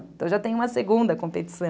Então, já tem uma segunda competição.